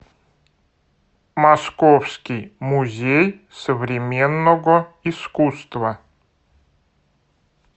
московский музей современного искусства